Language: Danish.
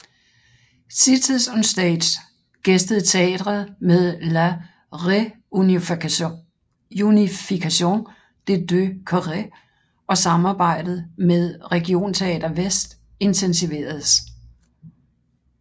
Cities on Stage gæstede teatret med La Réunification des deux Corées og samarbejdet med Regionteater Väst intensiveredes